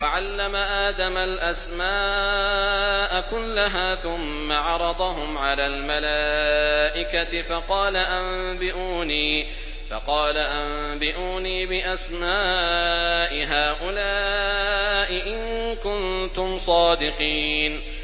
وَعَلَّمَ آدَمَ الْأَسْمَاءَ كُلَّهَا ثُمَّ عَرَضَهُمْ عَلَى الْمَلَائِكَةِ فَقَالَ أَنبِئُونِي بِأَسْمَاءِ هَٰؤُلَاءِ إِن كُنتُمْ صَادِقِينَ